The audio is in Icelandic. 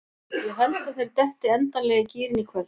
Ég held að þeir detti endanlega í gírinn í kvöld.